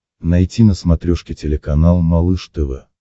найти на смотрешке телеканал малыш тв